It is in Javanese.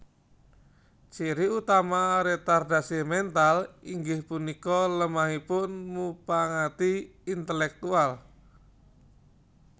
Ciri utama retardasi mental inggih punika lemahipun mupangati intelektual